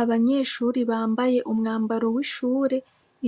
Abanyeshure bambaye umwambaro w'ishure,